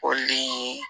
O ni